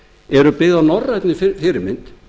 eru byggð að norrænni fyrirmynd